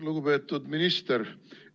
Lugupeetud minister!